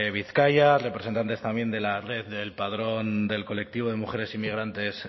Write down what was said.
bizkaia representantes también del del colectivo de mujeres inmigrantes